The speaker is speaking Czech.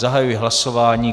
Zahajuji hlasování.